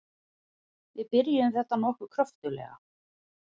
Við byrjuðum þetta nokkuð kröftuglega.